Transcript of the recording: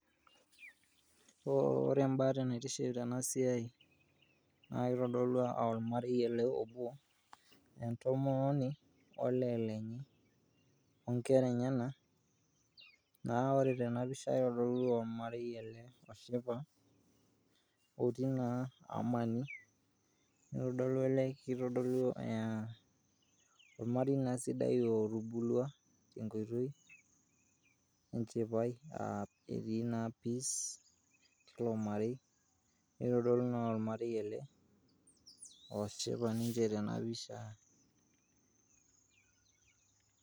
ore entokinaitiship tena pisha naa kitodolu ormare ele obo. entomononi olee lenye ,onkera enyenak. naa ore tena pisha kitodolu ormarei ele loshipa otii naa amani. kitodolu aa ormarei naa sidai otubulua tenkoitoi enchipai aa etii naa peace tilo marei , nitodolu naa ajo ormarei ele oshipa ninche tena pisha.